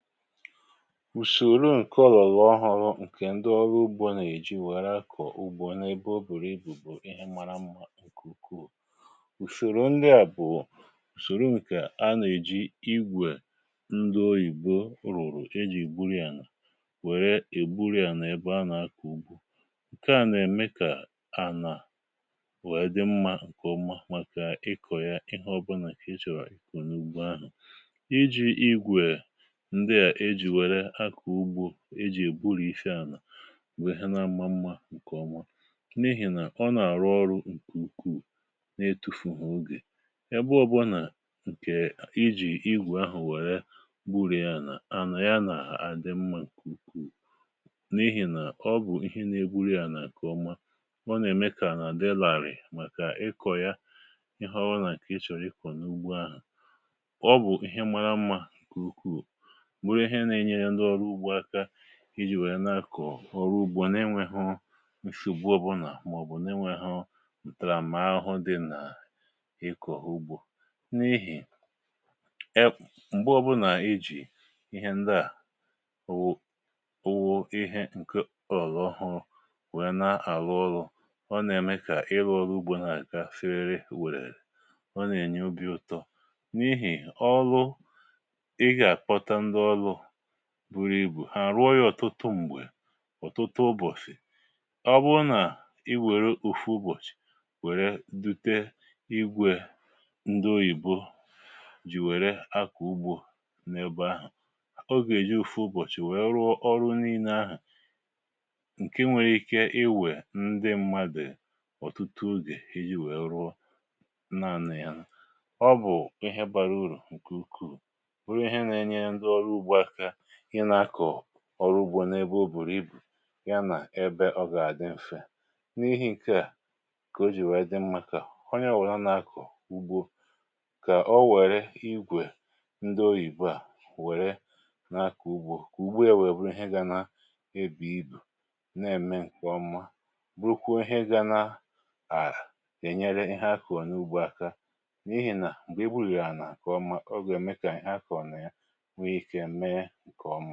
Usòrò ǹke ọlụlọ̀ ọhụrụ ǹkè ndị ọrụ ugbȯ nà-èji nwère akọ̀ ugbȯ n’ebe o bùrù ibù bụ̀ ihe mara mma ǹkè ukwuù. Usòrò ndị à bụ̀ ùsòrò ǹkè a nà-èji igwè ndị oyìbo rùrù eji egburu anà wère egburu anà ebe a nà-akọ̀ ugbȯ ǹke à nà-ème kà anà wèe dị mmȧ ǹkè ọma màkà ịkọ̀ ya ihe ọbunà ị chọrọ iko n'ụgbọ ahụ, iji ìgwè ndị a eji̇ were akọ ugbo eji̇ ègburisi ànà bụ ihe na-ama mmȧ ǹkè ọma n’ihì nà ọ nà-àrụ ọrụ̇ ǹkè ukwuù n’ètùfuhu ogè. Ebe ọbụna nke iji ìgwè ahụ wee gburie ana, ana ya na-adi mma nke ukwuu n’ihì nà ọ bụ̀ ihe na-egburi anà ǹkè ọma ọ nà-ème kà ànà dị larịị màkà ịkọ̇ ya ịhe ọbunà kà ị chọ̀rọ̀ ịkọ̀ n’ugbo ahụ̀, ọ bụ̀ ihe mara mmȧ nke ukwuù, bụrụ ihe na-enyere ndị ọrụ aka iji nwèe na-akọ̀ ọrụ ugbȯ na-enwėhu nsògbu ọbụnà màọ̀bụ̀ na-enwėhu ǹtàràmahụhụ dị nà ịkọ̀ ugbȯ n’ihì ee m̀gbe ọbụnà ijì ihe ndi à wụ̀ wụ̀ ihe ǹke ọ̀lụ̀ ọhụụ nwèe na-àlụ ọrụ ọ nà-ème kà ịlụ̇ ọrụ ugbȯ nà-àga siriri wèrèrè ọ nà-ènye obi̇ ụtọ n’ihì ọrụ ịga-kpọta ndị oru bụrụ ibù hà rụọ yȧ ọ̀tụtụ m̀gbè, ọ̀tụtụ ụbọ̀sị̀ ọ bụrụ nà i wère ụ̀fụ ụbọ̀chì wère dute igwė ndị oyìbo jì wère akọ̀ ugbȯ n’ebe ahụ̀, oga è ji ụfụ ụbọ̀chị̀ wèe rụọ ọrụ niine ahụ̀ ǹke nwere ike iwė ndị mmadù ọ̀tụtụ ogè iji̇ wèe rụọ naȧ niine ya. ọ bụ̀ ihe bȧra urù ǹkè ukwuù, bụrụ ihe na-enyere ndị ọrụ ugbȯ aka ịna-akọ ụgbọ n’ebe o bùrù ibù yanà ebe ọ gà àdị m̀fe, n’ihi̇ ǹkè ka o jì wèe dị mmȧ kà onye ọ̀wụ̀la n’ako ugbȯ kà o wère igwè ndị oyìbo à wère n’ako ugbȯ kà ụgbọ ya wèe bụrụ ihe gȧ na ebu ibù nà-ème ǹkèọ mmȧ bụrụkwȧ ihe gȧ nà-àrà kà-ènyere ihe akụ̀ọ n’ugbȯ aka n’ihi̇ nà m̀gbè i gbụ̀ri nke ọma ọ gà-ème kà ihe akụ̀ri nà ya mee ǹkè ọ́ma.